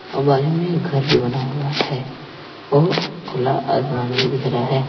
और बाजू में घर भी बना हुआ है और खुला आसमान भी दिख रहा है।